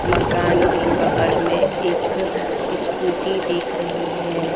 मकान के बगल में एक स्कूटी दिख रही है।